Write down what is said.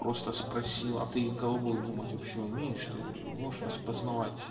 просто спросила ты головой думать вообще умеешь ты можешь распозновать